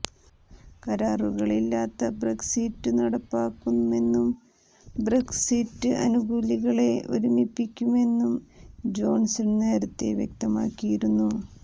കരാറുകളില്ലാതെ Brexit നടപ്പാക്കുമെന്നും Brexit അനുകൂലികളെ ഒരുമിപ്പിക്കുമെന്നും ജോണ്സണ് നേരത്തെ വ്യക്തമാക്കിയിരുന്നു